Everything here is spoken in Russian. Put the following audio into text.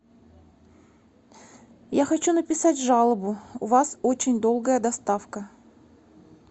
я хочу написать жалобу у вас очень долгая доставка